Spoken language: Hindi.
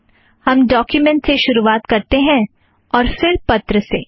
हम डोक्युमेंट से शुरू करते हैं और फ़िर पत्र से